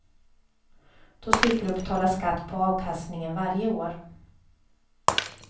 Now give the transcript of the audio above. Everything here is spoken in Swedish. Då slipper du betala skatt på avkastningen varje år.